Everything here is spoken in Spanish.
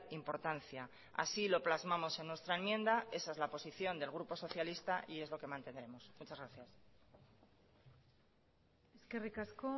importancia así lo plasmamos en nuestra enmienda esa es la posición del grupo socialista y es lo que mantendremos muchas gracias eskerrik asko